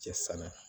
Cɛ sanna